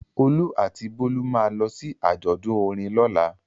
Olú àti Bólú máa lọ sí àjọ̀dún orin lọ́la.